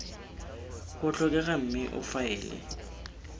go tlhokega mme o faele